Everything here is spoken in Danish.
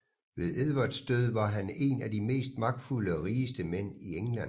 Ved Edvards død var han en af de mest magtfulde og rigeste mænd i England